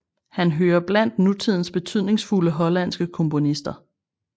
Han hører blandt nutidens betydningsfulde hollandske komponister